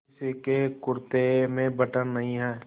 किसी के कुरते में बटन नहीं है